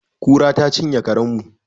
Kura ta cinye karen mu